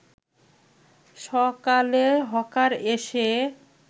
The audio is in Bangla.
সকালে হকার এসে